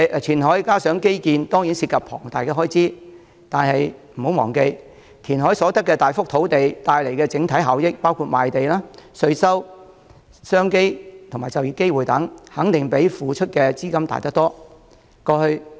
填海和基建當然涉及龐大開支，但不要忘記，填海所得的大幅土地帶來的整體效益包括賣地、稅收、商機及就業機會等，肯定比付出的資金大得多。